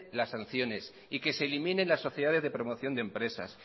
las sanciones que se eliminen las sociedades de promoción de empresas